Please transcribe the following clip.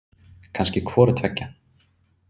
Kannski hvoru tveggja.